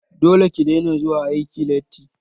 Dole ki daina zuwa aiki latti!